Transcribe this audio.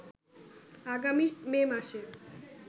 আগামী মে মাসে